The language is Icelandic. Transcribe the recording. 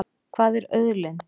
Hvað er auðlind?